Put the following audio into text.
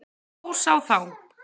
Hrós á þá!